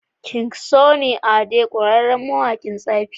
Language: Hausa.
king sunny ade ƙwarere mawaƙin tsafi